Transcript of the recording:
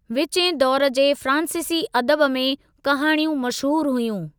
विचें दौर जे फ़्रांसीसी अदब में कहाणियूं मशहूरु हुयूं।